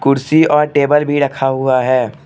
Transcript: कुर्सी और टेबल भी रखा हुआ है।